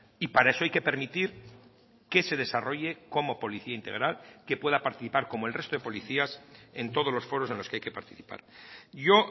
y para eso hay que permitir que se desarrolle como policía integral que pueda participar como el resto de policías en todos los foros en los que hay que participar yo